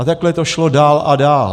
A takhle to šlo dál a dál.